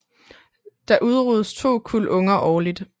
Der udruges to kuld unger årligt